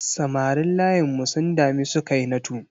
Samarin layinmu sun dami Sukainatu.